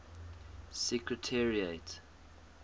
secretariat